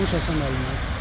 danış Həsən müəllimə.